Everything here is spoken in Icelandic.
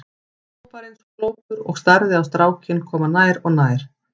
Hann stóð bara eins og glópur og starði á strákinn koma nær og nær.